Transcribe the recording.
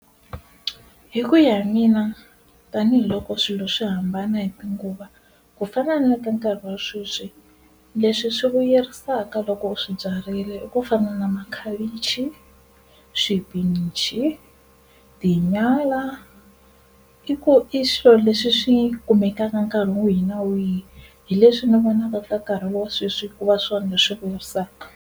Hi ku ya hi mina tanihiloko swilo swi hambana hi tinguva ku fana na ka nkarhi wa sweswi, leswi swi vuyerisaka loko u swi byarile i ku fana na makhavichi, xipinichi, tinyala i ku i swilo leswi swi kumekaka nkarhi wihi na wihi hi leswi ni vonaka ka nkarhi wa sweswi ku va swona leswi vuyerisaka.